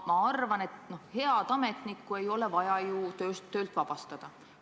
Ma arvan, et head ametnikku ei ole vaja ju töölt vabastada.